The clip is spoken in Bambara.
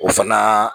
O fana